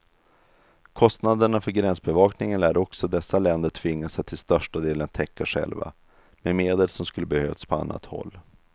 Kostnaderna för gränsbevakningen lär också dessa länder tvingas att till största delen täcka själva, med medel som skulle behövts på annat håll.